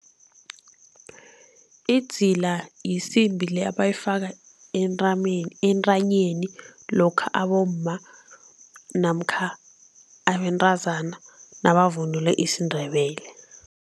Idzila yisimbi le abayifaka entanyeni lokha abomma namkha abentazana nabavunule isiNdebele.